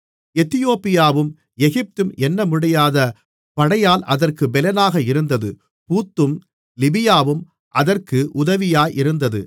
எத்தியோப்பியாவும் எகிப்தும் எண்ணமுடியாத படையால் அதற்குப் பெலனாக இருந்தது பூத்தும் லிபியாவும் அதற்கு உதவியாயிருந்தது